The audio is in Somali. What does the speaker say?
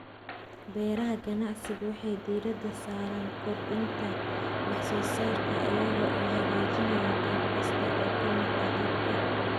Beeraha ganacsiga waxay diiradda saaraan kordhinta wax soo saarka iyaga oo hagaajinaya qayb kasta oo ka mid ah habka.